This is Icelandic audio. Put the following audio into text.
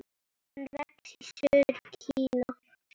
Hann vex í suður Kína.